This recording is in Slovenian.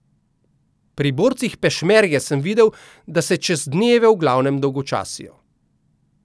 Pri borcih pešmerge sem videl, da se čez dneve v glavnem dolgočasijo.